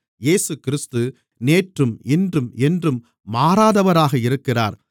இயேசுகிறிஸ்து நேற்றும் இன்றும் என்றும் மாறாதவராக இருக்கிறார்